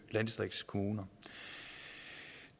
landdistriktskommuner